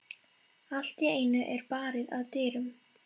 Allt í einu er barið að dyrum.